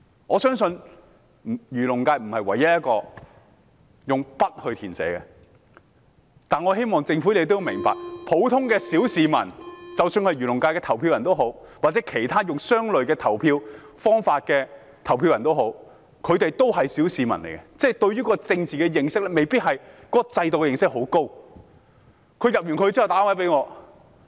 我相信漁農界不是唯一一個要用筆去填寫選擇的功能界別，但我希望政府明白，不論是漁農界的選民或以類似方法投票的選民，他們也是普通小市民，對政治制度未必有很多認識。